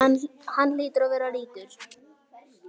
Hann hlýtur að vera ríkur.